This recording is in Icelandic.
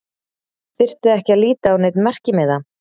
Þyrfti ekki að líta á neinn merkimiða.